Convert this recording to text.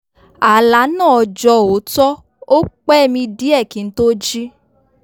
àlá náà jọ òótọ́ ó pẹ́ mi díẹ̀ kí n tó jí